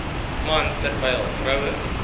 man terwyl vroue